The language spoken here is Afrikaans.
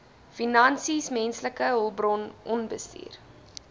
finansies menslike hulpbronbestuur